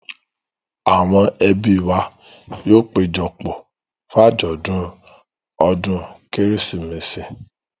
Àwọn ẹbí wa yóò péjọ pọ̀ fún àjọ̀dún ọdún Kérésìmesì.